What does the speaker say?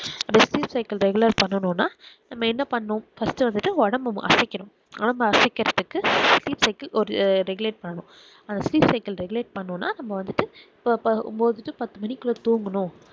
cycle regular பண்ணனும் னா நம்ம என்ன பண்ணும் first வந்துட்டு ஒடம்பு அசைக்கனும் ஒடம்ப அசைக்குரதுக்கு speak cycle ஒரு regulate பண்ணனும் அந்த speak cycle regulate பண்ணனும் னாநம்ம வந்துட்டு so இப்ப ஒன்பது to பத்து மணிக்குள்ள தூங்கனும்